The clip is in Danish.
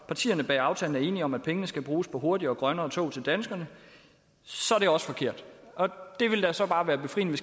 partierne bag aftalen er enige om at pengene skal bruges på hurtigere og grønne tog til danskerne så er det også forkert det ville da så bare være befriende